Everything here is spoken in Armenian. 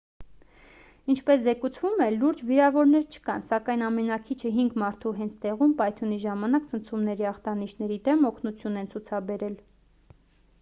ինչպես զեկուցվում է լուրջ վիրավորներ չկան սակայն ամենաքիչը հինգ մարդու հենց տեղում պայթյունի ժամանակ ցնցումների ախտանիշների դեմ օգնություն են ցացուցաբերել